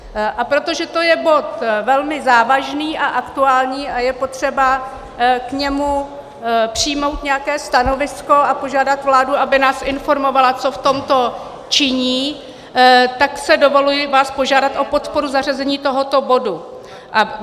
A protože to je bod velmi závažný a aktuální, a je potřeba k němu přijmout nějaké stanovisko a požádat vládu, aby nás informovala, co v tomto činí, tak si dovoluji vás požádat o podporu zařazení tohoto bodu.